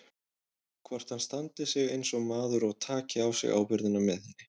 Hvort hann standi sig eins og maður og taki á sig ábyrgðina með henni.